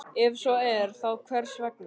Ef svo er, þá hvers vegna?